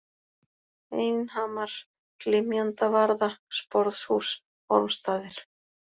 Einhamar, Glymjandavarða, Sporðshús, Ormsstaðir